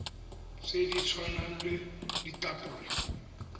tse di tshwanang le ditapole